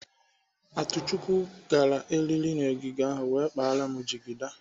Atuchukwu gara eriri n'ọgịga ahụ wee kpara m jigida.